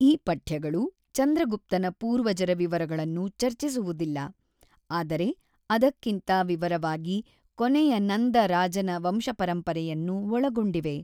ಈ ಪಠ್ಯಗಳು ಚಂದ್ರಗುಪ್ತನ ಪೂರ್ವಜರ ವಿವರಗಳನ್ನು ಚರ್ಚಿಸುವುದಿಲ್ಲ, ಆದರೆ ಅದಕ್ಕಿಂತ ವಿವರವಾಗಿ ಕೊನೆಯ ನಂದ ರಾಜನ ವಂಶಪರಂಪರೆಯನ್ನು ಒಳಗೊಂಡಿವೆ.